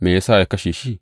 Me ya sa ya kashe shi?